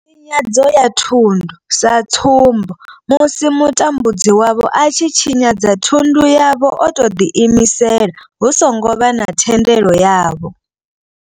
Tshinyadzo ya thundu sa tsumbo, musi mutambudzi wavho a tshi tshinyadza thundu yavho o tou ḓi imisela hu songo vha na thendelo yavho.